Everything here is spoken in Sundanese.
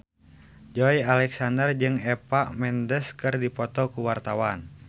Joey Alexander jeung Eva Mendes keur dipoto ku wartawan